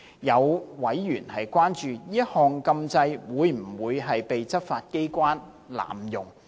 有委員關注，這項禁制會否被執法機構濫用。